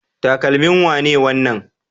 Takalmin wane ne wannan?